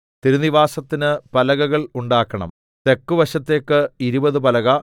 തിരുനിവാസത്തിന് പലകകൾ ഉണ്ടാക്കണം തെക്ക് വശത്തേക്ക് ഇരുപത് പലക